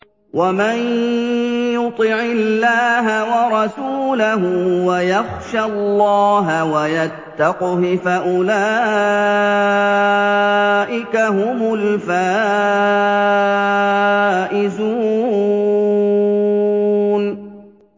وَمَن يُطِعِ اللَّهَ وَرَسُولَهُ وَيَخْشَ اللَّهَ وَيَتَّقْهِ فَأُولَٰئِكَ هُمُ الْفَائِزُونَ